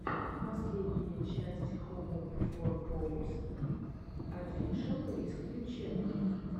последняя часть хоуп фор поус офишэл рискью ченнел